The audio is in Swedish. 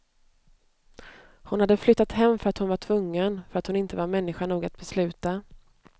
Hon hade flyttat hem för att hon var tvungen, för att hon inte var människa nog att besluta.